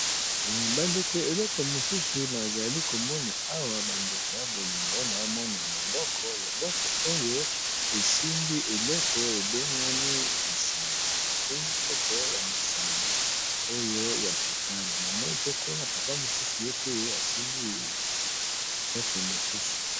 Ba ndeko eleko mosusu na zali ko mona awa ba ndeko ya bolingo nazo mona loboko, loboko oyo esimbi eloko e bengami masala, e simbi nkopo ya masanga oyo ya sukal na moni pe kuna papa mosusu ye pe a simbi kopo mosusu .